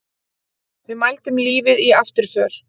Við mældum lífið í afturför.